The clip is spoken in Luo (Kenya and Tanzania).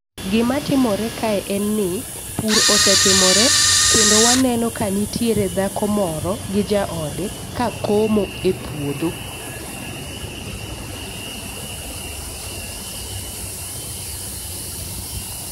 Gima timore kae en ni pur osetimore kendo waneno ka nitiere dhako moro gi jaode ka komo e puodho